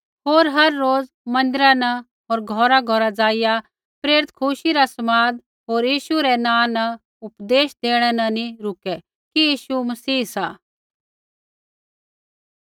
होर हर रोज़ मन्दिरा न होर घौरघौर ज़ाइआ प्रेरित खुशी रा समाद होर यीशु रै नाँ न उपदेश देणै न नी रूकै कि यीशु मसीह सा